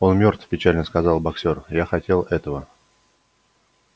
он мёртв печально сказал боксёр я не хотел этого